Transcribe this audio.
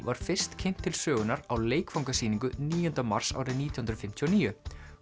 var fyrst kynnt til sögunnar á níunda mars árið nítján hundruð fimmtíu og níu